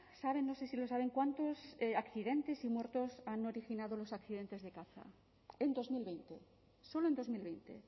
saben no sé si lo saben cuántos accidentes y muertos han originado los accidentes de caza en dos mil veinte solo en dos mil veinte